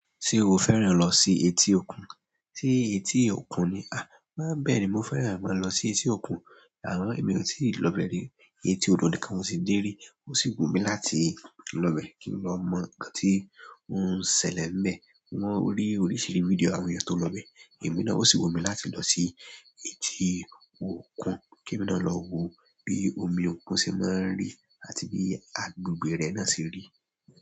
Ṣé o fẹ́ràn lọ sí etí òkun? Ṣé etí òkun ni? Má bere mo fẹ́ràn máa lọ sí etí òkun, àmo emi ò tíì lọbẹ́ẹ̀ rí. Etí odò nìkan mo ti dé rí. Ó sì wù mí láti lọ bẹ́ẹ̀ kí n lọ mọ̀ nkan tí o n ṣẹlẹ̀ n bẹ́ẹ̀. Mo rí oríṣiríṣi fídíò àwọn èeyàn tó lọ bẹ́ẹ̀. Èmi náà ó sì wù mí láti lọ sí etí òkun kemi náà lọ wo bí omi òkun ṣe máa ń rí àti bí agbègbè rẹ̀ náà ṣe rí.